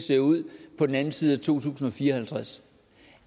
ser ud på den anden side af to tusind og fire og halvtreds